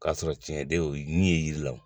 K'a sɔrɔ tiɲɛ tɛ o ye nin ye yiri la koyi.